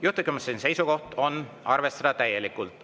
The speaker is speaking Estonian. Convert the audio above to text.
Juhtivkomisjoni seisukoht on arvestada täielikult.